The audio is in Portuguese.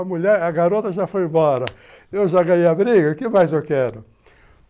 A garota já foi embora, eu já ganhei a briga, o que mais eu quero?